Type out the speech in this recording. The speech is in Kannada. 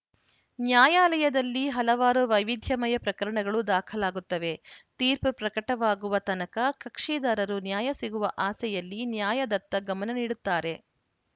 ನ್ಯಾಯಾಲಯದಲ್ಲಿ ಹಲವಾರು ವೈವಿಧ್ಯಮಯ ಪ್ರಕರಣಗಳು ದಾಖಲಾಗುತ್ತವೆ ತೀರ್ಪು ಪ್ರಕಟವಾಗುವ ತನಕ ಕಕ್ಷಿದಾರರು ನ್ಯಾಯ ಸಿಗುವ ಆಸೆಯಲ್ಲಿ ನ್ಯಾಯದತ್ತ ಗಮನ ನೀಡುತ್ತಾರೆ